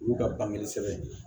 Olu ka bange sɛbɛn